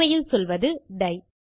உண்மையில் சொல்வது டை